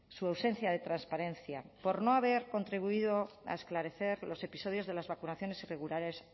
su ausencia de transparencia por no haber contribuido a esclarecer los episodios de las vacunaciones irregulares